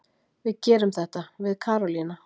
Við gerum þetta, við Karólína.